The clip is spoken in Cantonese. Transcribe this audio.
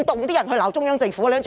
可以批評中央政府的嗎？